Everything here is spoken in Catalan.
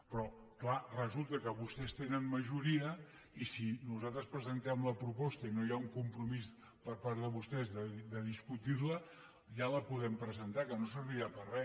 però és clar resulta que vostès tenen majoria i si nosaltres presentem la proposta i no hi ha un compromís per part de vostès de discutir la ja la podem presentar que no servirà per a re